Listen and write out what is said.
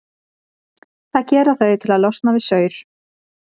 Það gera þau til að losa sig við saur.